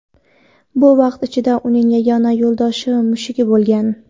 Bu vaqt ichida uning yagona yo‘ldoshi mushugi bo‘lgan.